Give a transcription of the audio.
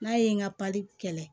N'a ye n ka kɛlɛ